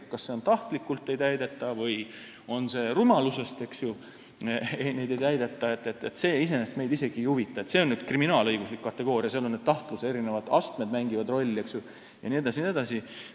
Kas norme ei täideta tahtlikult või rumalusest, see iseenesest meid isegi ei huvita, sest see on kriminaalõiguslik kategooria ja seal mängivad rolli tahtluse eri astmed jne.